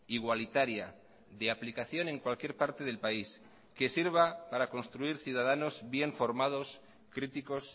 igualitaria de aplicación en cualquier parte del país que sirva para construir ciudadanos bien formados críticos